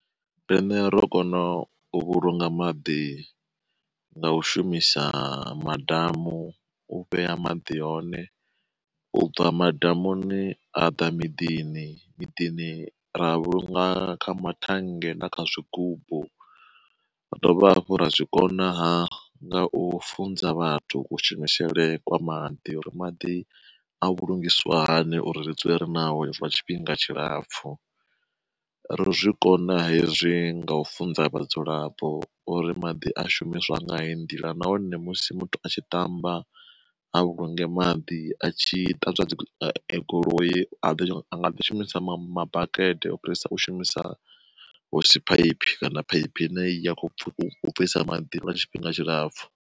Rine ro kona u vhulunga maḓi nga u shumisa madamu u vhea maḓi hone, u bva madamuni ha ḓa miḓini, miḓini ra a vhulunga kha mathange na kha zwigubu, ra dovha hafhu ra zwi konaha nga u funza vhathu kushumisele kwa maḓi uri maḓi a vhulungiswa hani uri ri dzule ri naho zwi lwa tshifhinga tshilapfhu. Ro zwikona hezwi nga u funza vhadzulapo uri maḓi a shumiswa nga heyi ndila nahone musi muthu a tshi tamba a vhulunge maḓi a tshi ṱanzwa dzi goloi anga ḓi shumisa mabakete u fhirisa u shumisa hosiphaiphi kana phaiphi ine ya kho bvisa maḓi lwa tshifhinga tshilapfhu.